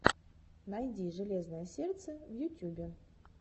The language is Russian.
найди железное сердце в ютюбе